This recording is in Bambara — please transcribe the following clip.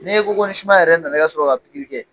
N'e ko ko sumara yɛrɛ nana ka sɔrɔ ka pikiri kɛ.